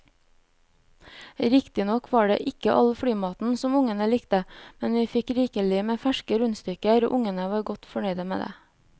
Riktignok var det ikke all flymaten som ungene likte, men vi fikk rikelig med ferske rundstykker og ungene var godt fornøyd med det.